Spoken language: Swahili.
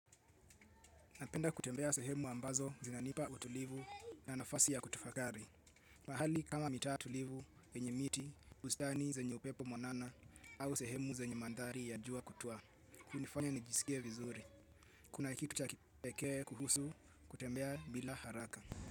Napenda kutembea sehemu ambazo zinanipa utulivu na nafasi ya kutafakari. Mahali kama mitaa tulivu, yenye miti, bustani zenye upepo mwanana au sehemu zenye madhari ya jua kutua. Kunifanya nijisikie vizuri. Kuna kitu cha kipekee kuhusu kutembea bila haraka.